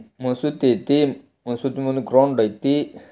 ಮಸೂತಿ ಐತಿ ಮಸೂತಿ ಮುಂದೆ ಗ್ರೌಂಡ್ ಐತಿ.